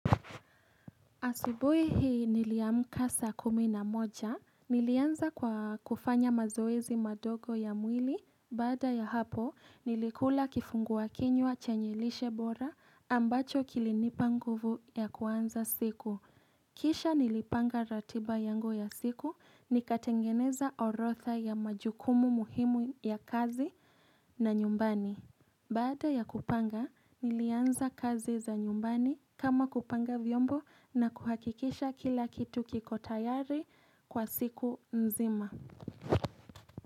Asubuhi hii niliamka saa kumi na moja Nilianza kwa kufanya mazoezi madogo ya mwili. Bada ya hapo, nilikula kifungua kinywa chenye lishe bora ambacho kilinipa nguvu ya kuanza siku. Kisha nilipanga ratiba yangu ya siku, nikatengeneza orodha ya majukumu muhimu ya kazi na nyumbani. Baada ya kupanga, nilianza kazi za nyumbani kama kupanga vyombo na kuhakikisha kila kitu kiko tayari kwa siku nzima.